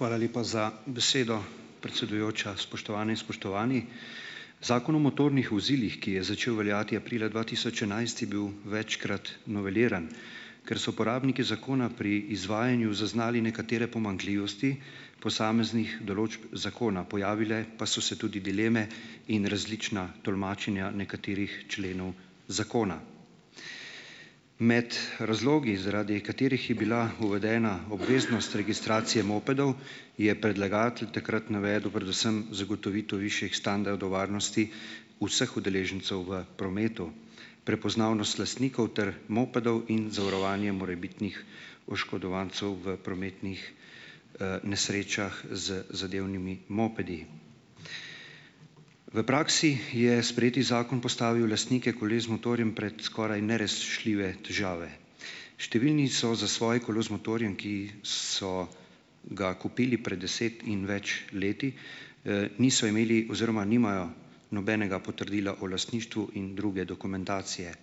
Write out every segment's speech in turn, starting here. Hvala lepa za besedo, predsedujoča. Spoštovane in spoštovani! Zakon o motornih vozilih, ki je začel veljati aprila dva tisoč enajst, je bil večkrat noveliran. Ker so uporabniki zakona pri izvajanju zaznali nekatere pomanjkljivosti posameznih določb zakona, pojavile pa so se tudi dileme in različna tolmačenja nekaterih členov zakona. Med razlogi, zaradi katerih je bila uvedena obveznost registracije mopedov, je predlagatelj takrat navedel predvsem zagotovitev višjih standardov varnosti vseh udeležencev v prometu, prepoznavnost lastnikov ter mopedov in zavarovanjem morebitnih oškodovancev v prometnih, nesrečah z zadevnimi mopedi. V praksi je sprejeti zakon postavil lastnike koles z motorjem pred skoraj nerešljive težave. Številni so za svoje kolo z motorjem, ki so ga kupili pred deset in več leti, niso imeli oziroma nimajo nobenega potrdila o lastništvu in druge dokumentacije.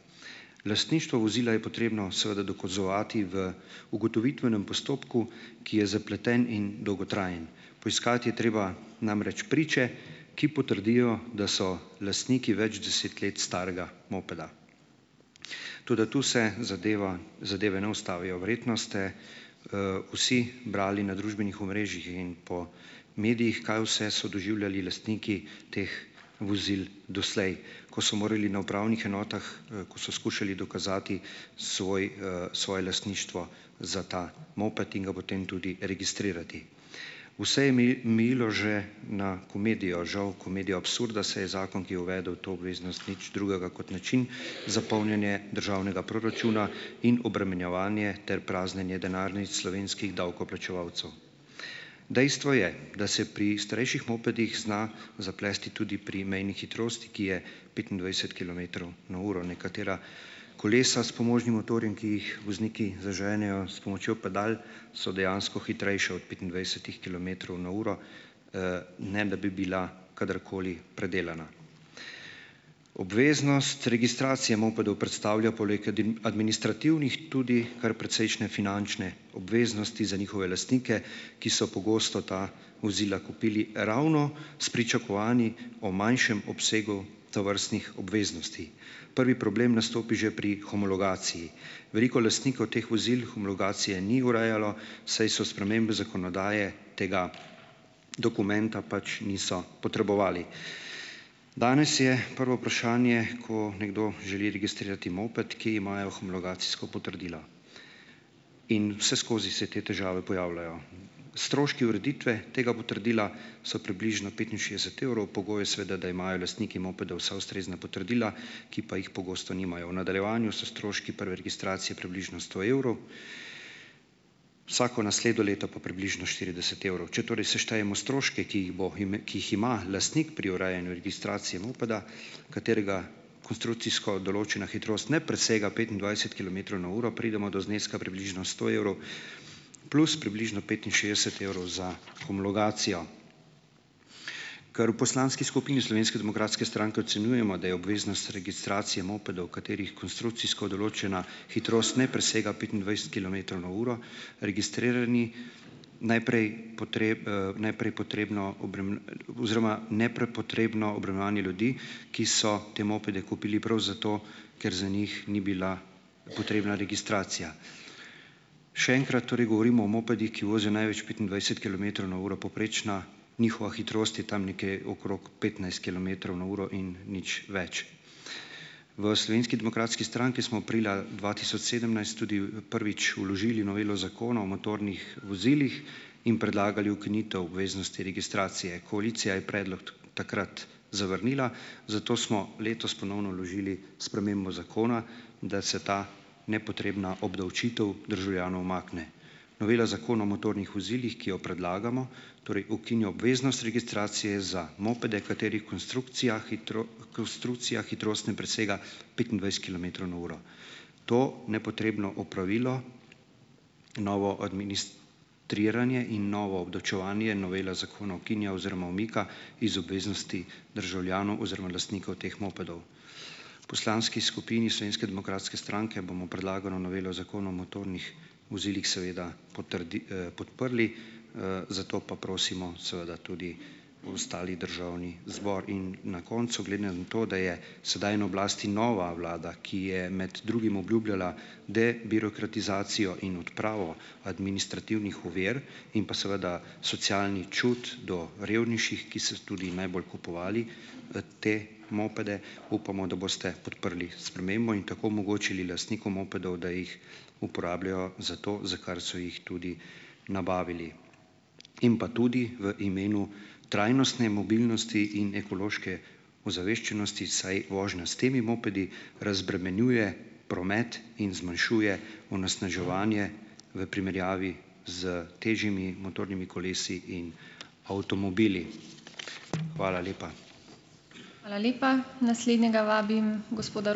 Lastništvo vozila je potrebno seveda dokazovati v ugotovitvenem postopku, ki je zapleten in dolgotrajen, poiskati je treba namreč priče, ki potrdijo, da so lastniki več deset let starega mopeda. Toda tu se zadeva zadeve ne ustavijo. Verjetno ste, vsi brali na družbenih omrežjih in po medijih, kaj vse so doživljali lastniki teh vozil doslej, ko so morali na upravnih enotah, ko so skušali dokazati svoj, svoje lastništvo za ta moped in ga potem tudi registrirati. Vse je mejilo že na komedijo - žal, komedijo absurda, saj je zakon, ki je uvedel to obveznost, nič drugega kot način za polnjenje državnega proračuna in obremenjevanje ter praznjenje denarnic slovenskih davkoplačevalcev. Dejstvo je, da se pri starejših mopedih zna zaplesti tudi pri mejni hitrosti, ki je petindvajset kilometrov na uro. Nekatera kolesa s pomožnim motorjem, ki jih vozniki zaženejo s pomočjo pedal, so dejansko hitrejša od petindvajsetih kilometrov na uro, ne da bi bila kadarkoli predelana. Obveznost registracije mopedov predstavlja poleg administrativnih tudi kar precejšnje finančne obveznosti za njihove lastnike, ki so pogosto ta vozila kupili ravno s pričakovanji o manjšem obsegu tovrstnih obveznosti. Prvi problem nastopi že pri homologaciji. Veliko lastnikov teh vozil homologacije ni urejalo, saj so spremembe zakonodaje tega dokumenta pač niso potrebovali. Danes je prvo vprašanje, ko nekdo želi registrirati moped, kje imajo homologacijsko potrdilo. In vseskozi se te težave pojavljajo. Stroški ureditve tega potrdila so približno petinšestdeset evrov. Pogoj je seveda, da imajo lastniki mopedov vsa ustrezna potrdila, ki pa jih pogosto nimajo. V nadaljevanju so stroški prve registracije približno sto evrov, vsako naslednje leto pa približno štirideset evrov. Če torej seštejemo stroške, ki jih bo ki jih ima lastnik pri urejanju registracije mopeda, katerega konstrukcijsko določena hitrost ne presega petindvajset kilometrov na uro, pridemo do zneska približno sto evrov plus približno petinšestdeset evrov za homologacijo. Ker v poslanski skupini Slovenske demokratske stranke ocenjujemo, da je obveznost registracije mopedov, katerih konstrukcijsko določena hitrost ne presega petindvajset kilometrov na uro, registrirani - najprej najprej potrebno - oziroma nepotrebno obremenjevanje ljudi, ki so te mopede kupili prav za to, ker za njih ni bila potrebna registracija. Še enkrat. Torej govorimo o mopedih, ki vozijo največ petindvajset kilometrov na uro, povprečna njihova hitrost je tam nekje okrog petnajst kilometrov na uro in nič več. V Slovenski demokratski stranki smo aprila dva tisoč sedemnajst tudi prvič vložili novelo Zakona o motornih vozilih in predlagali ukinitev obveznosti registracije. Koalicija je predlog takrat zavrnila, zato smo letos ponovno vložili spremembo zakona, da se ta nepotrebna obdavčitev državljanov umakne. Novela Zakona o motornih vozilih, ki jo predlagamo, torej ukinja obveznost registracije za mopede, katerih konstrukcija konstrukcija hitrost ne presega petindvajset kilometrov na uro. To nepotrebno opravilo, novo administriranje in novo obdavčevanje novela zakona ukinja oziroma umika iz obveznosti državljanov oziroma lastnikov teh mopedov. Poslanski skupini Slovenske demokratske stranke bomo predlagano novelo Zakona o motornih vozilih seveda podprli, zato pa prosimo seveda tudi ostali državni zbor. In na koncu - glede na to, da je sedaj na oblasti nova vlada, ki je med drugim obljubljala debirokratizacijo in odpravo administrativnih ovir in pa seveda socialni čut do revnejših, ki so tudi najbolj kupovali, te mopede, upamo, da boste podprli spremembo in tako omogočili lastnikom mopedov, da jih uporabljajo za to, za kar so jih tudi nabavili. In pa tudi - v imenu trajnostne mobilnosti in ekološke ozaveščenosti, saj vožnja s temi mopedi razbremenjuje promet in zmanjšuje onesnaževanje v primerjavi s težjimi motornimi kolesi in avtomobili. Hvala lepa.